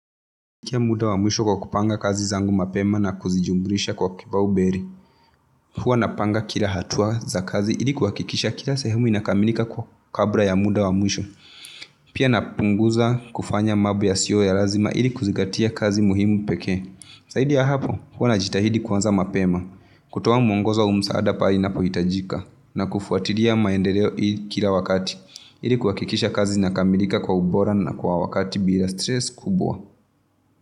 Pia muda wa mwisho wa kupanga kazi zangu mapema na kuzijumlisha kwa kipaumbele. Huwa napanga kila hatua za kazi ili kuahakikisha kila sehemu inakamilika kwa, kabla ya muda wa mwisho. Pia napunguza kufanya mambo yasiyo ya lazima ili kuzingatia kazi muhimu pekee. Zaidi ya hapo, huwa najitahidi kuanza mapema. Kutoa mwongoza au msaada pale inapohitajika na kufuatili ya maendeleo hii kila wakati. Ili kuhakikisha kazi zinakamilika kwa ubora na kwa wakati bila stress kubwa.